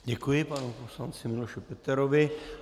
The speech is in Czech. Děkuji panu poslanci Miloši Peterovi.